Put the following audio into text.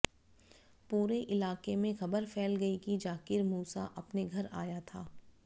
पूरे इलाके में खबर फैल गई कि जाकिर मूसा अपने घर आया था